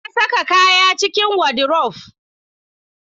Na saka kayan cikin wadirof